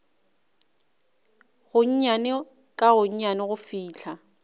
gonnyane ka gonnyane go fihla